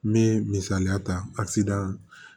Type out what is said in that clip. N bɛ misaliya ta